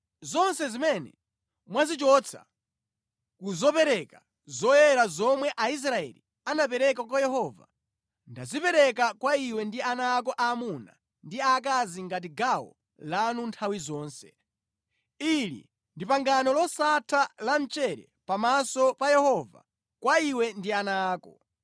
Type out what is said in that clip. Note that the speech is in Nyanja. Zonse zimene mwazichotsa ku zopereka zoyera zomwe Aisraeli anapereka kwa Yehova ndazipereka kwa iwe ndi ana ako aamuna ndi aakazi ngati gawo lanu nthawi zonse. Ili ndi pangano losatha la mchere pamaso pa Yehova kwa iwe ndi ana ako.”